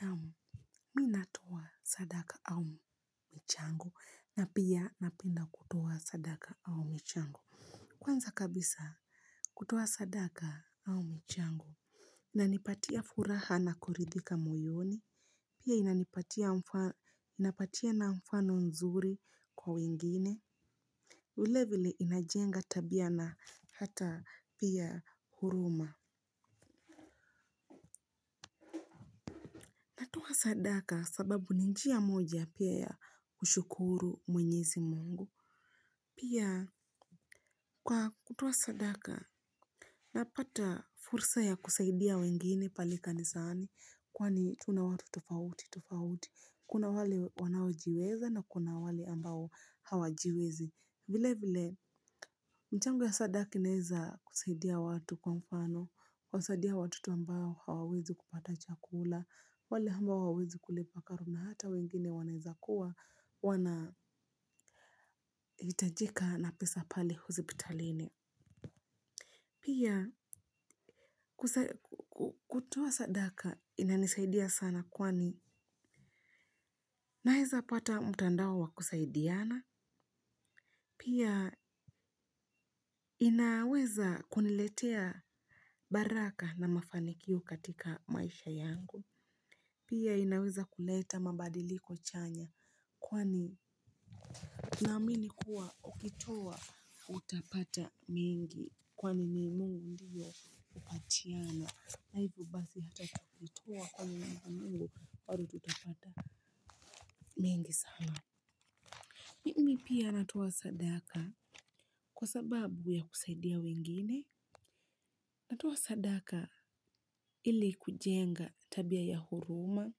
Naam. Mi natoa sadaka au michango na pia napenda kutoa sadaka au michango. Kwanza kabisa kutoa sadaka au michango inanipatia furaha na kuridhika moyoni. Pia inapatiana mfano nzuri kwa wengine. Vilevile inajenga tabia na hata pia huruma kwa sadaka sababu ni njia moja pia ya kushukuru mwenyezi mungu. Pia kwa kutoa sadaka napata fursa ya kusaidia wengine pale kanisani kwani tuna watu tofauti tofauti. Kuna wale wanaojiweza na kuna wale ambao hawajiwezi. Vile vile mchango ya sadaka inaeza kusaidia watu kwa mfano kuwasaidia watoto ambao hawawezi kupata chakula wale ambao hawawezi kule pakaru na hata wengine wanaeza kuwa wanahitajika na pesa pale hospitalini. Pia kutoa sadaka inanisaidia sana kwani naeza pata mutandao wa kusaidiana. Pia inaweza kuniletea baraka na mafanikio katika maisha yangu. Pia inaweza kuleta mabadiliko chanya kwani naamini kuwa ukitoa utapata. Mingi kwa nini mungu ndiyo hupatiana na hivo basi hata tukitoa kwa mungu bado tutapata mingi sana mimi pia natoa sadaka kwa sababu ya kusaidia wengine natoa sadaka ili kujenga tabia ya huruma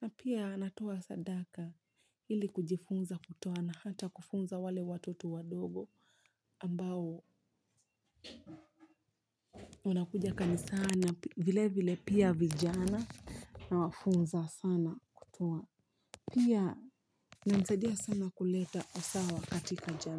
na pia natoa sadaka ili kujifunza kutoa na hata kufunza wale watoto wadogo ambao unakuja kanisani vile vile pia vijana nawafunza sana kutoa. Pia inanisaidia sana kuleta usawa katika jamii.